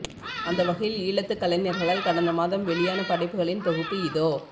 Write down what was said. அந்த வகையில் ஈழத்து கலைஞர்களால் கடந்த மாதம் வெளியான படைப்புகளின் தொகுப்பு இதோ